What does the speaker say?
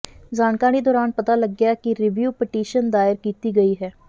ਜਾਣਕਾਰੀ ਦੌਰਾਨ ਪਤਾ ਲੱਗਿਆ ਕਿ ਰੀਵਿਊ ਪਟੀਸ਼ਨ ਦਾਇਰ ਕੀਤੀ ਗਈ ਹੈ